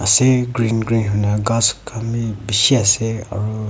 ase green green hoina kas kan bi beshi ase aru.